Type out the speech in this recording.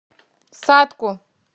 сатку